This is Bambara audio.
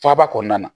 Faaba kɔnɔna na